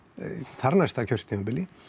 þar næsta kjörtímabili